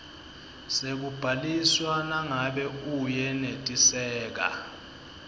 sekubhaliswa nangabe uyenetiseka